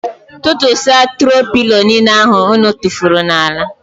Tụtụsia tro pilo niile ahụ ụnụ tufuru n'ala.